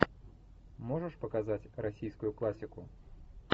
можешь показать российскую классику